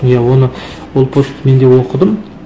иә оны ол постты мен де оқыдым